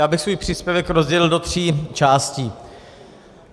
Já bych svůj příspěvek rozdělil do tří částí.